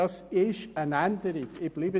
Das ist eine Änderung.